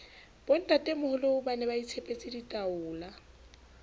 bontatemoholo ba ne baitshepetse ditaola